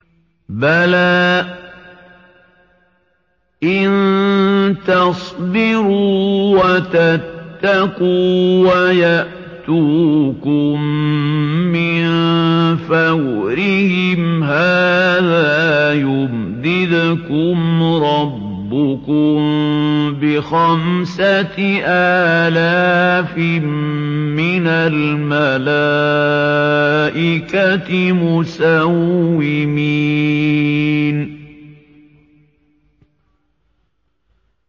بَلَىٰ ۚ إِن تَصْبِرُوا وَتَتَّقُوا وَيَأْتُوكُم مِّن فَوْرِهِمْ هَٰذَا يُمْدِدْكُمْ رَبُّكُم بِخَمْسَةِ آلَافٍ مِّنَ الْمَلَائِكَةِ مُسَوِّمِينَ